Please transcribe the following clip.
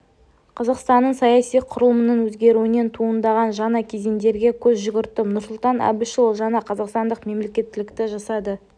қазақстанның саяси құрылымының өзгеруінен туындаған жаңа кезеңдерге көз жүгірттім нұрсұлтан әбішұлы жаңа қазақстандық мемлекеттілікті жасады